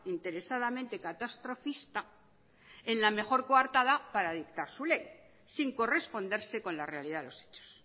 interesadamente catastrofista en la mejor coartada para dictar su ley sin corresponderse con la realidad de los hechos